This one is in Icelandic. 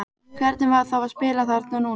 Hvernig var þá að spila þarna núna?